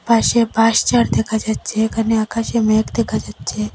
পাশে বাঁশঝাড় দেখা যাচ্ছে এখানে আকাশে মেঘ দেখা যাচ্ছে।